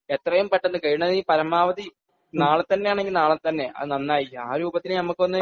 എത്രയും പെട്ടെന്ന് കഴിയണതും പരമാവധി നാളെ തന്നെ ആണെങ്കിൽ നാളെ തന്നെ നന്നായിരിക്കും ആരൂപത്തിൽ നമുക്കൊന്ന്